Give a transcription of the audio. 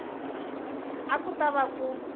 a ku ta va ku